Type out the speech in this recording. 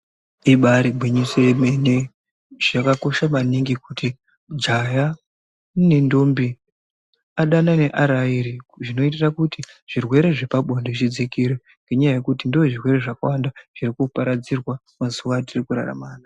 Ribaari gwinyiso remene, zvakakosha maningi kuti jaha nendombi adanane ari airi, zvinoitira kuti zvirwere zvepabonde zvidzakire. Ngendaa yekuti ndizvo zvirwere zvakawanda zviri kuparadzirwa mazuwa atiri kurarama.